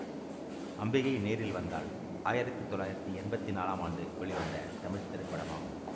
அம்பிகை நேரில் வந்தாள் ஆயிரத்தி தொள்ளாயிரத்தி எம்பத்தி நாலாம் ஆண்டு வெளிவந்த தமிழ் திரைப்படமாகும்